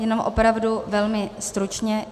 Jenom opravdu velmi stručně.